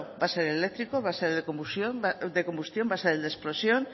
va a ser eléctrico va a ser de combustión va a ser el de explosión